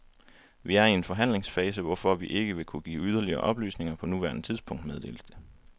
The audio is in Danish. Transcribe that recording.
Vi er i en forhandlingsfase, hvorfor vi ikke vil kunne give yderligere oplysninger på nuværende tidspunkt, meddeles det.